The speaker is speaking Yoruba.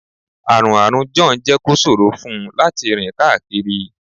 Àrùn Àrùn John jẹ́ kó ṣòro fún un láti rìn káàkiri